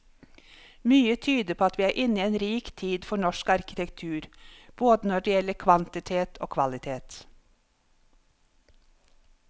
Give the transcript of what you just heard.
Mye tyder på at vi er inne i en rik tid for norsk arkitektur, både når det gjelder kvantitet og kvalitet.